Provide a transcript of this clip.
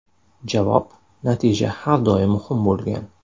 Javob: Natija har doim muhim bo‘lgan.